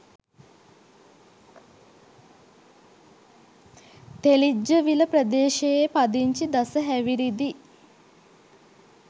තෙලිජ්ජවිල ප්‍රදේශයේ පදිංචි දස හැවිරිදි